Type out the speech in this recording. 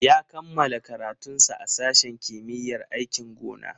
Ya kammala karatunsa a sashen kimiyyar aikin gona.